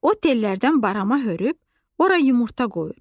O tellərdən barama hörüb, ora yumurta qoyur.